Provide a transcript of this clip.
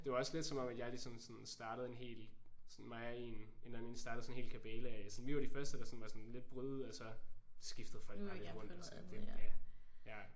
Det var også lidt som om at jeg ligesom sådan startede en hel sådan mig og en en anden en startede sådan en hel kabale sådan vi var de første der sådan var sådan lidt brød ud og så skiftede folk bare lidt rundt og sådan det